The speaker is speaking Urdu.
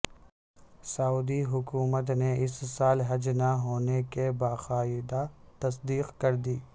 سعودی حکومت نے اس سال حج نہ ہونے کی باقاعدہ تصدیق کر دی